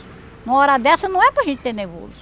Numa hora dessa não é para gente ter nervoso.